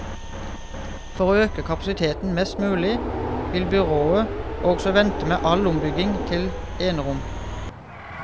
For å øke kapasiteten mest mulig, vil byrådet også vente med all ombygging til enerom.